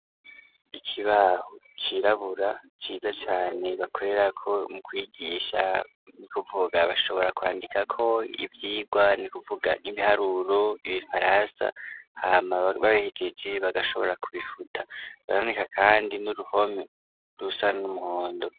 Ikibaho cirabura ciza cane bakorerako mu kwigisha ni ukuvuga bashobora kwandikako ivyigwa ni kuvuga nk'ibiharuro ,ibifaransa hama bahejeje bagashobora kubifuta biraboneka kandi n'uruhome rusa n'umuhondo.